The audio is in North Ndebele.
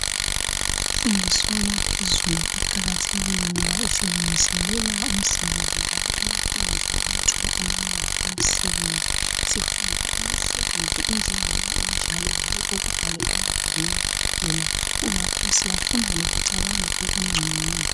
Imfundiso yaphezulu iqakathekile ngoba isilungiselela umisebenzi njalo iyayenza amathuba amanengi omsebenzi. Sifunda imisebenzi injengoba injalo hayi okokubhala emabhukwini kuphela kungakho siyafunda lokucabanga okungcono